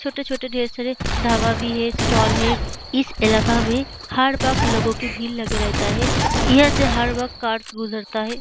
छोटे-छोटे ढ़ेर सारे ढाबा भी है स्टॉल है इस इलाका में हर वक्त लोगो के भीड़ लगे रहता है यह से हर वक्त कार गुजरता है।